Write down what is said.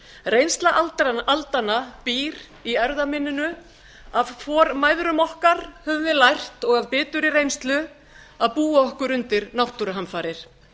reynsla aldanna býr í erfðaminninu af formæðrum okkar höfum við lært og af biturri reynslu að búa okkur undir náttúruhamfarir